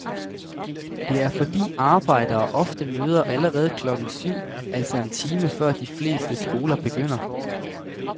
Det er fordi arbejdere ofte møder allerede klokken syv, altså en time før de fleste skoler begynder.